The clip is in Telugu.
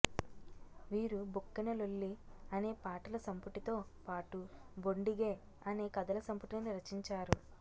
వీరు బొక్కెన లొల్లి అనే పాటల సంపుటితో పాటు బొండిగె అనే కథల సంపుటి ని రచించారు